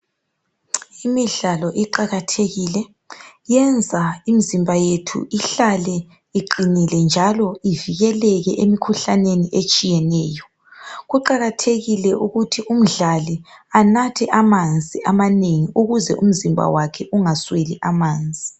Imidlalo iqakathekile yenza imizimba yethu ihlale iqinile njalo ivikeleke emikhuhlaneni etshiyeneyo. Kuqakathekile ukuthi umdlali anathe amanzi amanengi ukuze umzimba wakhe ungasweli amanzi.